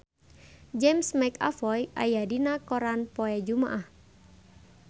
James McAvoy aya dina koran poe Jumaah